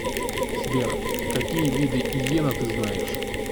сбер какие виды иена ты знаешь